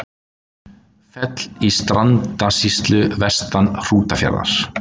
Fell í Strandasýslu vestan Hrútafjarðar.